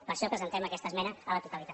per això presentem aquesta esmena a la totalitat